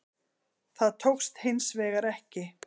Það tókst hins vegar ekki